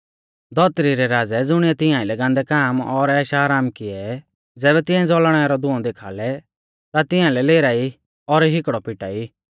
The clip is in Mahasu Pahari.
धौतरी रै राज़ै ज़ुणिऐ तिंआ आइलै गान्दै काम और ऐशआराम कियै ज़ैबै तिऐं ज़ौल़णै रौ धुंऔ देखाल़ै ता तिंआलै लेराई और हिकड़ौ पिटाई